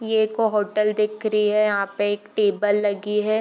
ये एक होटल दिख रही है यहाँ पे एक टेबल लगी है।